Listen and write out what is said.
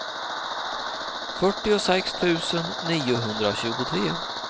fyrtiosex tusen niohundratjugotre